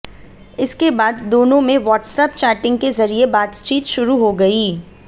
इसके बाद दोनों में व्हाट्सऐप चैटिंग के जरिए बातचीत शुरू हो गई